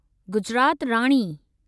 Gujarat Rani